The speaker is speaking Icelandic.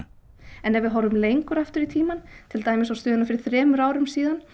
ef við horfum lengur aftur á tímann til dæmis á stöðuna fyrir þremur árum síðan